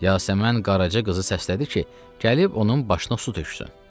Yasəmən Qaraca qızı səslədi ki, gəlib onun başına su töksün.